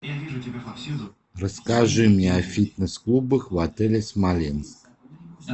расскажи мне о фитнес клубах в отеле смоленск